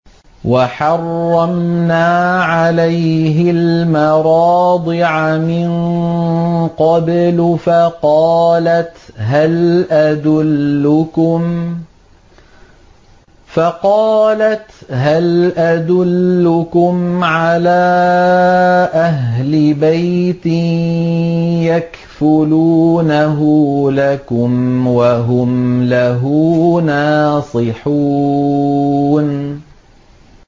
۞ وَحَرَّمْنَا عَلَيْهِ الْمَرَاضِعَ مِن قَبْلُ فَقَالَتْ هَلْ أَدُلُّكُمْ عَلَىٰ أَهْلِ بَيْتٍ يَكْفُلُونَهُ لَكُمْ وَهُمْ لَهُ نَاصِحُونَ